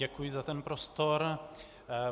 Děkuji za ten prostor.